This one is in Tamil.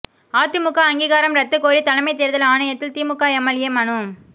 அதிமுக அங்கீகாரம் ரத்து கோரி தலைமை தோ்தல் ஆணையத்தில் திமுக எம்எல்ஏ மனு